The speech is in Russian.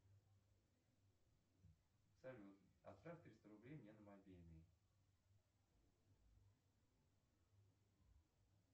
салют отправь триста рублей мне на мобильный